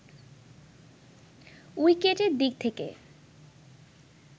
উইকেটের দিক থেকে